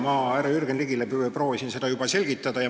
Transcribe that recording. Ma juba härra Jürgen Ligile proovisin seda selgitada.